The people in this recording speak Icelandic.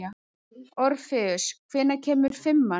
Orfeus, hvenær kemur fimman?